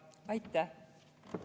Aitäh!